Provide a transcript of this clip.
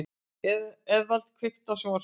Eðvald, kveiktu á sjónvarpinu.